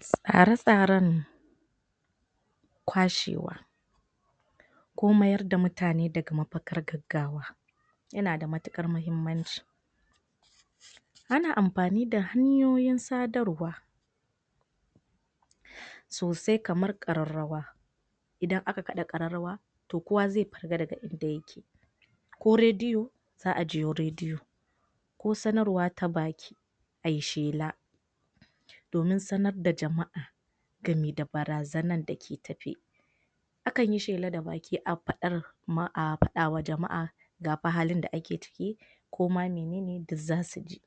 Tsare tsaren kwashewa ko mayar da mutane daga mapagar gaggawa yana da matukar mahimmanci Ana amfani da hanyoyin sadarwa sosai kamar kararrawa idan aka kada kararrawa, toh kowa ze daga in da yake ko rediyo, za a jiyo rediyo ko sanarwa ta baki ayishela domin sanar da jama'a gare da barazanan take tafe akan yi da baki a fadar, a fada wa jama'a ga pa halin da ake ciki ko ma menene da za su ji.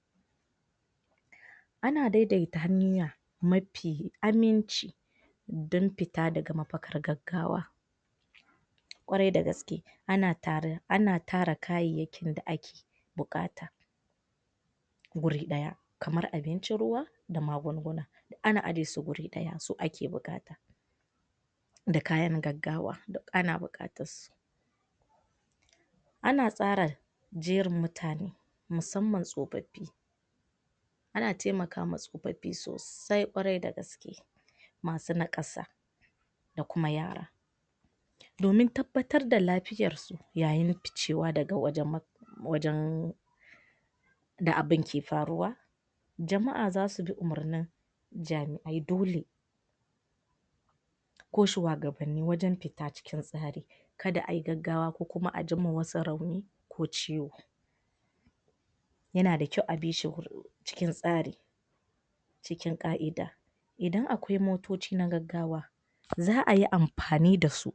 Ana daidaita hanya mafi aminci don fita daga mapagar gaggawa kwarai da gaskiye, ana tare, ana tara kayyayakin da ake bukata wuri daya. kamar abinci ruwa da magunguna ana ajiye su wuri daya, su ake bukata da kayan gaggawa, duk ana bukatan su ana tsara jerin mutane musamman tsofaffi ana taimaka ma tsoffafi sosai, kwarai da gaskiye masu nakasa da kuma yara domin tabbatar da lafiyar su yayin daga wajen wajen da abin ke faruwa. Jama'a za su bi u'marnin jami ai dole ko shuagabanni wajen fita wurin tsari kada ayi gaggawa ko a ji ma wasu rauni ko ciwo yana da kyau a bi shi wur cikin tsari cikin ka'ida idan akwai motoci na gaggawa, za a yi amfani da su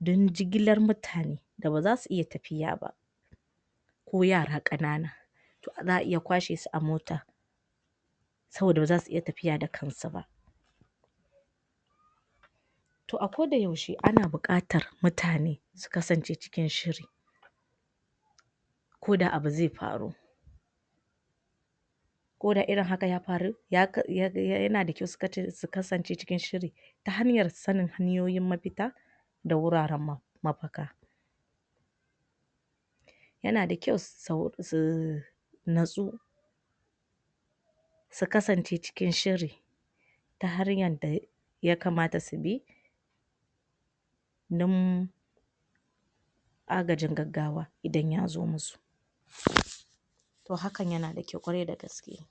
don jigilar mutane da baza su iya tafiya ba ko yara kanana za iya kwashe su a mota saboda baza su iya tafiya da kan su ba Toh a ko da yaushe ana bukatar mutane su kasance cikin shiri koda abu ze faru. ko da irin haka ya faru, ya, yana da kyau su kace, su kasance cikin shiri ta hanyar sanin hanyoyin mafita da wuraren mapaka yana da kyau su natsu su kasance sikin shiri ta hariyan da ya kamata su bi num agajin gaggawa idan ya zo musu